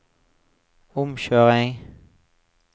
omkjøring